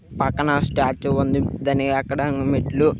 పక్కన స్టాట్యూ ఉంది. దాన్ని ఎక్కడానికి మెట్లు--